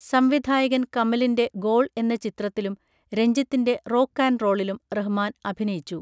സംവിധായകൻ കമലിൻ്റെ ഗോൾ എന്ന ചിത്രത്തിലും രഞ്ജിത്തിൻ്റെ റോക്ക് ആൻഡ് റോളിലും റഹ്മാൻ അഭിനയിച്ചു.